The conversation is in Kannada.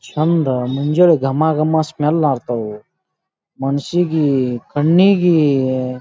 ಚಂದ ಮುಂಜಾನೆ ಘಮ ಘಮ ಸ್ಮೆಲ್ ಹಾರ್ತವು ಮನಸ್ಸಿಗೆ ಕಣ್ಣಿಗೆ--